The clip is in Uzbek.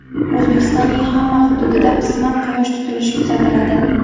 O‘zbekistonning hamma hududida qisman Quyosh tutilishi kuzatiladi.